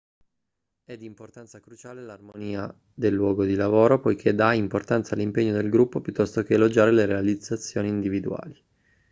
è di importanza cruciale l'armonia del luogo di lavoro poiché dà importanza all'impegno del gruppo piuttosto che elogiare le realizzazioni individuali